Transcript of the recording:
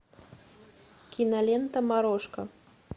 кинолента морошка